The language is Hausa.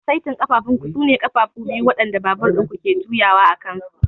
Saitin ƙafafunku sune ƙafafu biyu waɗanda babur ɗin ku ke juyawa a kansu.